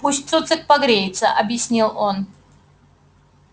пусть цуцик погреется объяснил он